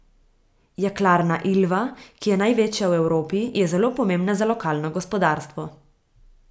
Jeklarna Ilva, ki je največja v Evropi, je zelo pomembna za lokalno gospodarstvo.